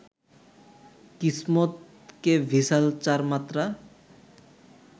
কিসমত কে ভিসাল চার মাত্রা